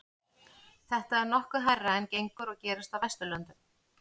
þetta er nokkuð hærra en gengur og gerist á vesturlöndum